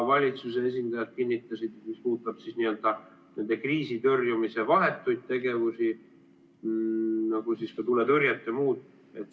Valitsuse esindajad kinnitasid seda, mis puudutab kriisitõrjumise vahetuid tegevusi, nagu ka tuletõrjet ja muud.